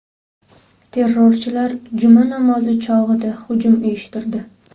Terrorchilar juma namozi chog‘ida hujum uyushtirdi.